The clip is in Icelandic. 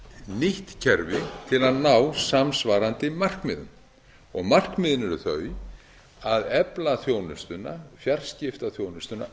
nýtt kerfi til að ná samsvarandi markmiðum markmiðin eru þau að efla þjónustuna fjarfsetingaþjónustuna